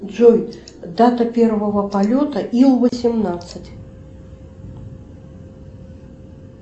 джой дата первого полета ил восемнадцать